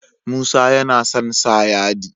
Musa yAna son sa yadi